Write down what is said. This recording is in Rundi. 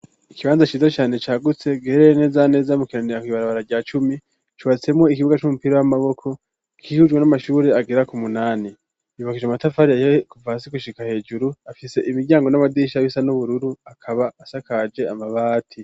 Ikibanza cize cane cagutse giherereye neza neza mu kiranira ku ibarabara rya cumi cubatsemo ikibuga c'umupira w'amaboko kihujwe n'amashuri agera ku munani yubakije amatafari ahiye kuva hasi gushika hejuru afise imiryango n'amadirisha asa n'ubururu akaba asakaje amabati.